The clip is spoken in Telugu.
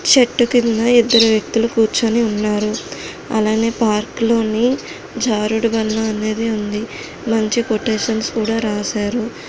చెట్టు కింద ఇద్దరు వ్యక్తులు కూర్చొని ఉన్నారు. అలానే పార్క్ లోని జారుడు బండ అనేది ఉంది. మంచి కోటేషన్స్ కూడా రాసారు.